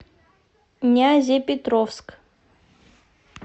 нязепетровск